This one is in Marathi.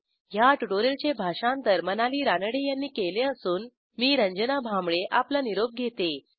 ह्या ट्युटोरियलचे भाषांतर मनाली रानडे यांनी केले असून मी रंजना भांबळे आपला निरोप घेते160